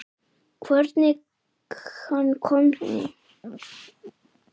Hvernig hann komst í síma.